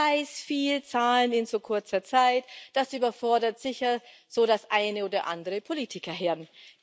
Ich weiß, viele Zahlen in so kurzer Zeit, das überfordert sicher so das eine oder andere Politikerhirn.